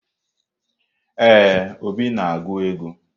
Ee, Obi na-agụ ego.